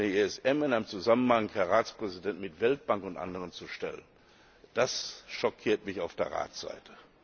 Den ESM in einem Zusammenhang, Herr Ratspräsident, mit Weltbank und anderen zu stellen, das schockiert mich auf der Rats Seite.